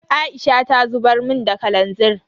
Aisha ta zubar mun da kalanzir.